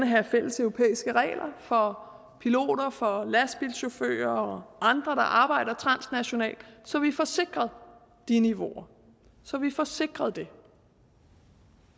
have fælleseuropæiske regler for piloter for lastbilchauffører og andre der arbejder transnationalt så vi får sikret de niveauer så vi får sikret det